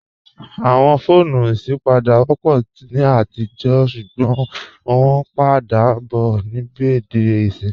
Awọn foonu isipádé wọ́pọ̀ ni atijọ̀ ṣugbọn wọn pa dà bọ̀ nibẹ̀dé ìṣin.